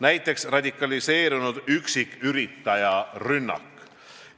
Näiteks võib tuua radikaliseerunud üksiküritaja rünnaku.